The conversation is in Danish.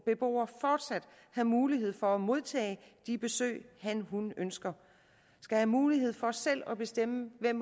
beboer fortsat have mulighed for at modtage de besøg hanhun ønsker have mulighed for selv at bestemme hvem